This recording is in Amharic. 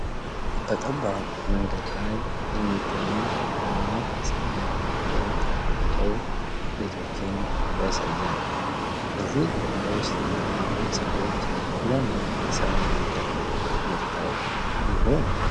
በጠባብ መንገድ ላይ የሚገኙ ደማቅ ሰማያዊ ግድግዳዎች ያሏቸው ቤቶችን ያሳያል። በዚህ ግቢ ውስጥ ያሉት ሰዎች ለምን ሰማያዊ ቀለም መርጠው ይሆን?